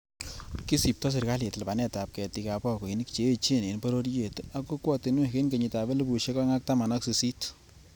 Kisipto serkalit lipanetab ketik ab bokoinik che echen en bororiet ak kokwotinwek en kenyitab elfusiek oeng ak taman ak sisit.